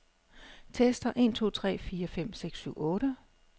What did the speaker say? Tester en to tre fire fem seks syv otte.